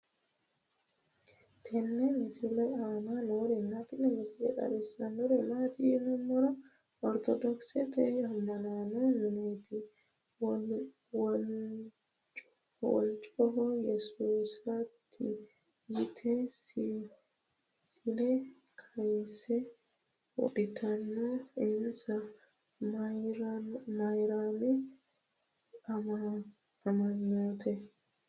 tenne misile aana noorina tini misile xawissannori maati yinummoro orttodokisette ama'notte mineetti walichoho yesuusatti yitte siille kayiise wodhittanno insa mayiirammino amanttanno